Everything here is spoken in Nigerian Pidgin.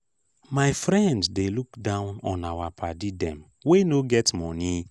my friend dey look down on our paddy dem wey no get moni.